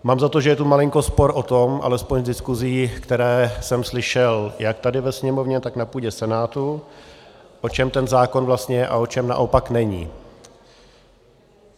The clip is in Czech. Mám za to, že je tu malinko spor o tom, alespoň z diskusí, které jsem slyšel jak tady ve Sněmovně, tak na půdě Senátu, o čem ten zákon vlastně je a o čem naopak není.